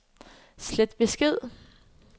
slet besked